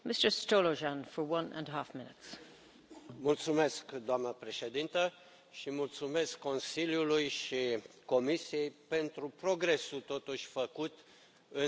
Doamnă președintă, mulțumesc Consiliului și Comisiei pentru progresul făcut totuși în dezvoltarea Uniunii Economice și Monetare.